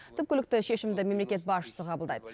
түпкілікті шешімді мемлекет басшысы қабылдайды